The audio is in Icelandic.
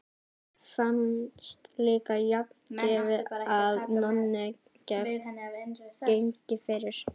Fannst líka sjálfgefið að Nonni gengi fyrir.